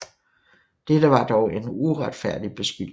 Dette var dog en uretfærdig beskyldning